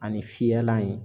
Ani fiyɛlan ye.